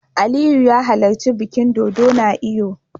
Aliyu ya halarci bikin dodo na Eyo